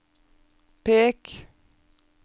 pek